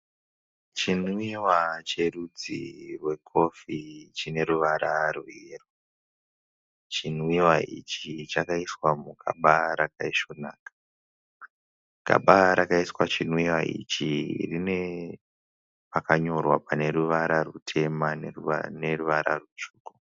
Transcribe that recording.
Chinwiwa cherudzi rwekofi chine ruvara rweyero. Chinwiwa ichi chakaiswa mugaba rakaisvonaka. Gaba rakaiswa chinwiwa ichi rine pakanyorwa pane ruvara rutema neruvara rutsvuku.